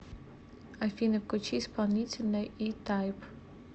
афина включи исполнителя и тайп